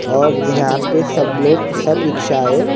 और यहाँ पे सब लोग सब रिक्शा हैं।